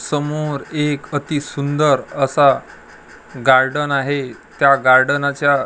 समोर एक अति सुंदर असा गार्डन आहे त्या गार्डनाच्या --